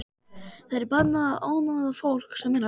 Það er bannað að ónáða fólk sem er að vinna.